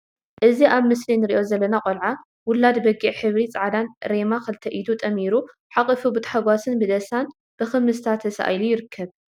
እዚ ኣብ ምስሊ እንሪኦ ዘለና ቆልዓ ውላድ በጊዕ ሕብሪ ጻዕዳ ሬማ ክልተ ኢዱ ጠሚሩ ሓቊፉ ብታሕጓስን ብደስታን ብኽምስታ ተሳኢሉ ይርከብ።